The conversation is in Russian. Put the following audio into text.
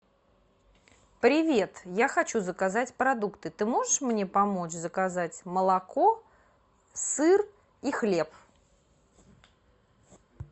привет я хочу заказать продукты ты можешь мне помочь заказать молоко сыр и хлеб